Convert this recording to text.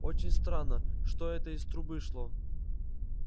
очень странно что это из трубы шло